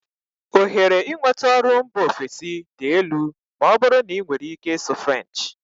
Ohere inweta ọrụ mba ofesi dị elu ma ọ bụrụ na ị nwere ike ịsụ French.